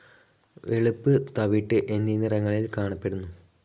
വെളുപ്പ്, തവിട്ട് എന്നീ നിറങ്ങളിൽ കാണപ്പെടുന്നു.